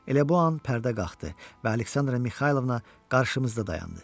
Elə bu an pərdə qalxdı və Aleksandra Mixaylovna qarşımızda dayandı.